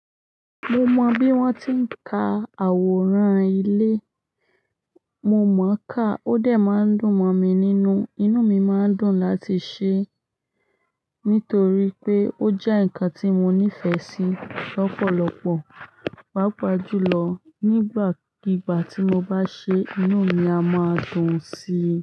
Mo mọ bí wón ti ń ka àwòrán ilé, mo mọ ka ó dè máa ń dùn mọ mi nínú, inú mi má ń dùn láti ṣe é nítorí pé ó jẹ́ ǹkan tí mo nífẹ̀ẹ́ sí lọ̀pọ̀lọpọ̀. Papa jùlọ nígbà kígbà tí mo bá ṣe é, inú mi a máa dun síi.